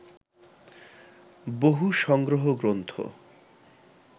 বহু সংগ্রহ গ্রন্থ